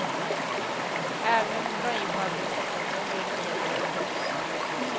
Även om de drar in på administrationen blir det mer jobb för oss.